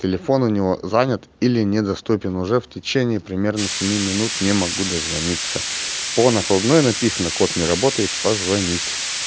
телефон у него занят или недоступен уже в течение примерно семи минут не могу дозвониться по накладной написано код не работает позвонить